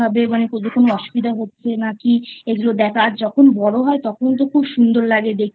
কোনো অসুবিধা হচ্ছে নাকি এগুলো দেখা আর যখন বড়ো হয় তখন তো খুব সুন্দর লাগে দেখতে